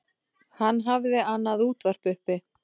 Hann hafði annað útvarp uppi.